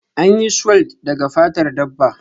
An yi sulwed daga fatar dabba